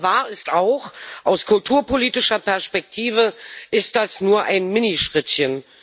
Aber wahr ist auch Aus kulturpolitischer Perspektive ist das nur ein Minischrittchen.